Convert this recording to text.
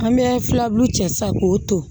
An bɛ filabulu cɛ sisan k'o to